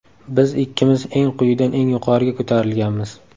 Biz ikkimiz eng quyidan eng yuqoriga ko‘tarilganmiz.